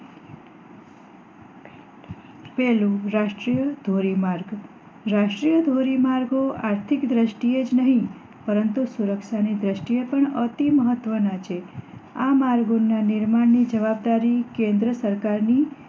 પહેલું રાષ્ટ્રીય ધોરી માર્ગ રાષ્ટ્રીય ધોરી માર્ગો આર્થિક દ્રષ્ટિ એ જ નહી પરંતુ સુરક્ષા ની દ્રષ્ટિ એ પણ અતિ મહત્વ ના છે આ માર્ગો ના નિર્માણ ની જવાબદારી કેન્દ્ર સરકારની